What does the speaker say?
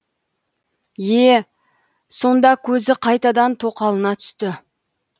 е сонда көзі қайтадан тоқалына түсті